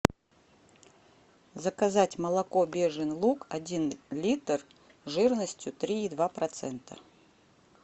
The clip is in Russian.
заказать молоко бежин луг один литр жирностью три и два процента